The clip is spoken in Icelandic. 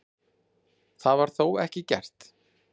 Það var þó ekki gert.